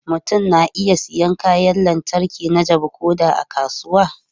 Mutum na iya siyan kayan lantarki na jabu ko da a kasuwa.